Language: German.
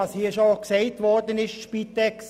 Was hier bereits gesagt wurde, ist richtig.